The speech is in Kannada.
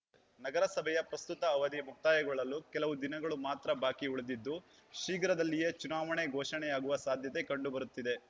ನಗರಸಭೆಯ ಪ್ರಸ್ತುತ ಅವಧಿ ಮುಕ್ತಾಯಗೊಳ್ಳಲು ಕೆಲವು ದಿನಗಳು ಮಾತ್ರ ಬಾಕಿ ಉಳಿದಿದ್ದು ಶೀಘ್ರದಲ್ಲಿಯೇ ಚುನಾವಣೆ ಘೋಷಣೆಯಾಗುವ ಸಾಧ್ಯತೆ ಕಂಡು ಬರುತ್ತಿದೆ